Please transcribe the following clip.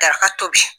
Daga tobi